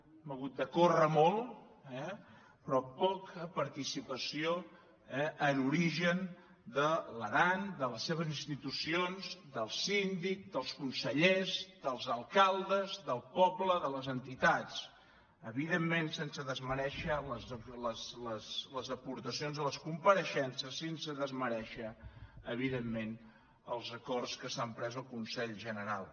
hem hagut de córrer molt eh però poca participació en origen de l’aran de les seves institucions dels síndics dels consellers dels al·caldes del poble de les entitats evidentment sense desmerèixer les aportacions de les compareixences sense desmerèixer evidentment els acords que s’han pres al consell general